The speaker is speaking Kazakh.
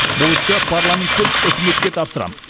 бұл істі парламент пен үкіметке тапсырамын